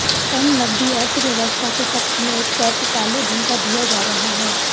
कम नकदी अर्थव्यवस्था के पक्ष में एक तर्क काले धन का दिया जा रहा है